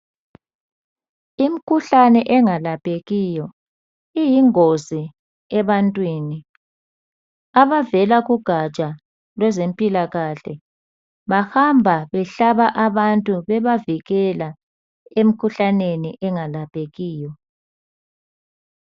Imkhuhlane engalaphekiyo iyingozi ebantwini. Abavela kugaja lwezempilahle bahamba behlaba abantu bebavikela emkhuhlaneni engalaphekiyo.